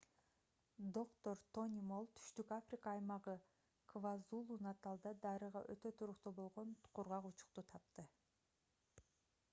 доктор тони молл түштүк африка аймагы квазулу-наталда дарыга өтө туруктуу болгон кургак учукту тапты